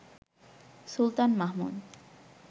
Sultan Mahmud